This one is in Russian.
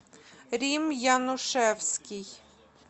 рим янушевский